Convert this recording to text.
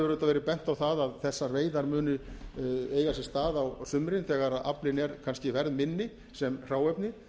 auðvitað verið bent á það að þessar veiðar muni eiga sér stað á sumrin þegar aflinn er kannski verðminni sem hráefni